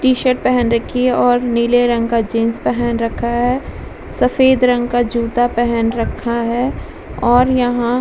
T-shirt पेहन रखी है और नीले रंग का जीन्स पेहन रखा है सफेद रंग का जूता पेहन रखा है और यहाँ --